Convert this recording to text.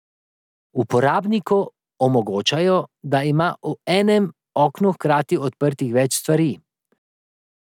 Uporabniku omogočajo, da ima v enem oknu hkrati odprtih več stvari.